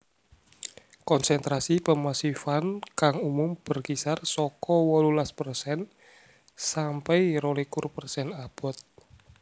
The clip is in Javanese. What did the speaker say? Konsentrasi pemasifan kang umum berkisar saka wolulas persen sampai rolikur persen abot